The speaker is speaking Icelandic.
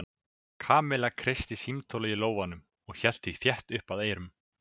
Kamilla kreisti símtólið í lófanum og hélt því þétt upp að eyranu.